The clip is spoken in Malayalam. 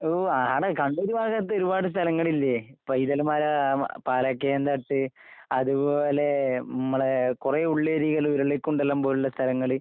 ഓ ആടാ കണ്ണൂര് ഭാഗത്തൊരുപാട് സ്ഥലങ്ങളില്ലേ പൈതൽ മല, മ പാലക്കയം തട്ട്. അതുപോലെ ഇമ്മടെ കുറെ ഉള്ളേരിയകള് ഉരുളിക്കുണ്ഡലം പോലുള്ള സ്ഥലങ്ങള്.